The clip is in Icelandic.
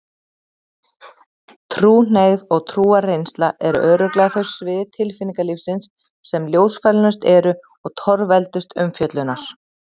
Trúhneigð og trúarreynsla eru örugglega þau svið tilfinningalífsins sem ljósfælnust eru og torveldust umfjöllunar.